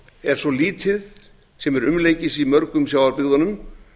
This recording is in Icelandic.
er svo lítið sem er umleikis í mörgum sjávarbyggðunum